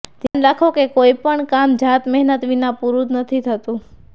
ધ્યાન રાખો કે કોઈપણ કામ જાતમહેનત વિના પૂરુ નથી થતું